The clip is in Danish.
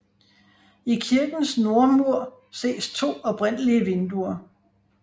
I kirkens nordmur ses to oprindelige vinduer